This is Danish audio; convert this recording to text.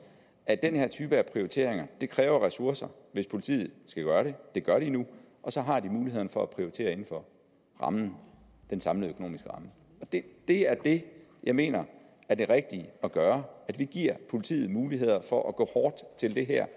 at den her type af prioriteringer kræver ressourcer hvis politiet skal gøre det det gør de nu og så har de mulighed for at prioritere inden for rammen den samlede økonomiske ramme det er det jeg mener er det rigtige at gøre vi giver politiet mulighed for at gå hårdt til det her